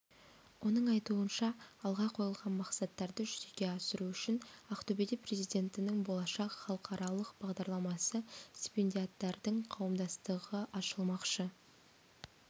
оның айтуынша алға қойылған мақсаттарды жүзеге асыру үшін ақтөбеде президентінің болашақ халықаралық бағдарламасы стипендиаттарының қауымдастығы ашылмақшы